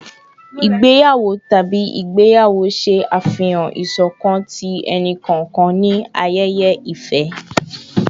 Igbeyawo tabi igbeyawo ṣe afihan iṣọkan ti ẹni-kọọkan ni ayẹyẹ ifẹ